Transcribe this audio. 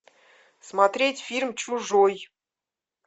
смотреть фильм чужой